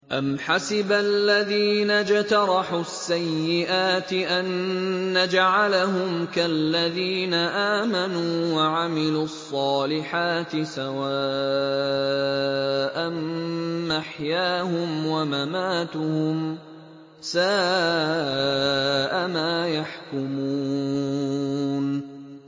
أَمْ حَسِبَ الَّذِينَ اجْتَرَحُوا السَّيِّئَاتِ أَن نَّجْعَلَهُمْ كَالَّذِينَ آمَنُوا وَعَمِلُوا الصَّالِحَاتِ سَوَاءً مَّحْيَاهُمْ وَمَمَاتُهُمْ ۚ سَاءَ مَا يَحْكُمُونَ